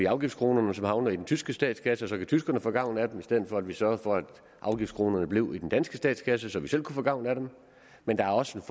afgiftskronerne som havner i den tyske statskasse og så kan tyskerne få gavn af dem i stedet for at vi sørgede for at afgiftskronerne blev i den danske statskasse så vi selv kunne få gavn af dem men der er også et